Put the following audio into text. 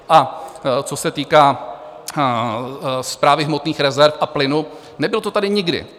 A co se týká Správy hmotných rezerv a plynu, nebylo to tady nikdy.